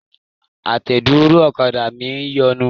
Àtẹ̀dúró ọ̀kadà mi ń yọnu.